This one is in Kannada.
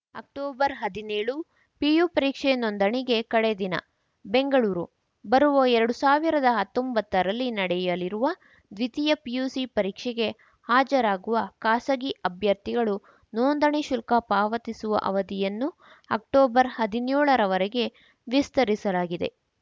ಅಕ್ಟೊಬರ್ ಹದಿನೇಳು ಪಿಯು ಪರೀಕ್ಷೆ ನೋಂದಣಿಗೆ ಕಡೆ ದಿನ ಬೆಂಗಳೂರು ಬರುವ ಎರಡ್ ಸಾವಿರದ ಹತ್ತೊಂಬತ್ತರಲ್ಲಿ ನಡೆಯಲಿರುವ ದ್ವಿತೀಯ ಪಿಯುಸಿ ಪರೀಕ್ಷೆಗೆ ಹಾಜರಾಗುವ ಖಾಸಗಿ ಅಭ್ಯರ್ಥಿಗಳು ನೋಂದಣಿ ಶುಲ್ಕ ಪಾವತಿಸುವ ಅವಧಿಯನ್ನು ಅಕ್ಟೊಬರ್ ಹದ್ನ್ಯೋಳರ ವರೆಗೆ ವಿಸ್ತರಿಸಲಾಗಿದೆ